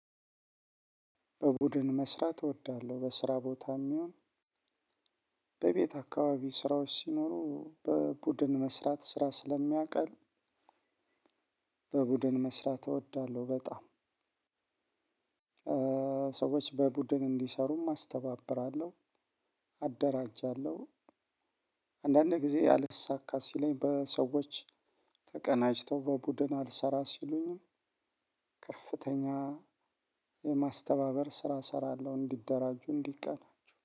በቡድን መስራት እወዳለሁ በስራ ቦታም ይሁን በቤት አካባቢ ሰራዎች ሲኖሩ በቡድን መስራት ስራ ስለሚያቀል በቡድን መስራት እወዳለሁ። በጣም ሰዎች በቡድን እንዲሰሩም አስተባብራለሁ። አደራጃለሁ። አንዳንዴ ጊዜ አልሳካ ሲለኝ በሰዎች ተቀናጅተው በቡድን አልሰራ ሲሉኝም ከፍተኛ የማስተባበር ስራ እሰራለሁ እንዲደራጁ እንዲቀናጁ